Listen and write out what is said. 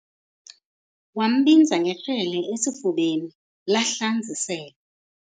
Wambinza ngekrele esifubeni, lahlanz' iselwa.